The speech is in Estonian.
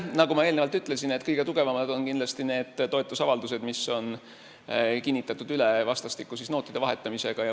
Nagu ma eelnevalt ütlesin, kõige tugevamad on kindlasti need toetusavaldused, mis on kinnitatud üle vastastikuste nootide vahetamisega.